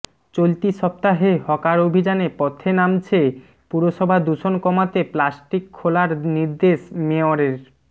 চলতি সপ্তাহে হকার অভিযানে পথে নামছে পুরসভা দূষণ কমাতে প্লাস্টিক খোলার নির্দেশ মেয়রের